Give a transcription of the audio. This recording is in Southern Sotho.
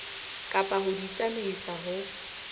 kapa ho di tsamaisa ho